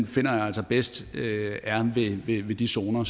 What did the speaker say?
finder jeg altså bedst er ved de zoner